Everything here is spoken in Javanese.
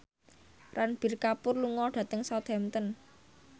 Ranbir Kapoor lunga dhateng Southampton